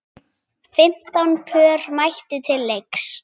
Fimmtán pör mættu til leiks.